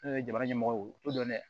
Ne ye jamana ɲɛmɔgɔ ye o t'o dɔn dɛ